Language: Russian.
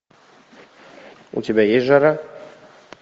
у тебя есть жара